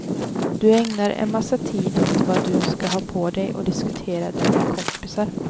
Du ägnar en massa tid åt vad du ska ha på dig och diskuterar det med kompisar.